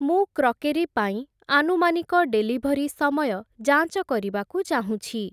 ମୁଁ କ୍ରକେରୀ ପାଇଁ ଆନୁମାନିକ ଡେଲିଭରି ସମୟ ଯାଞ୍ଚ କରିବାକୁ ଚାହୁଁଛି ।